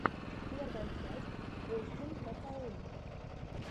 первая часть остин махоун